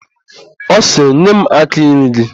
Ọ sịrị, "nye m áká nri gị"!